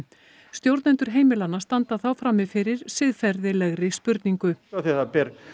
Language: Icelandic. stjórnendur heimilanna standa þá frammi fyrir siðferðilegri spurningu af því það ber